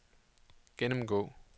gennemgå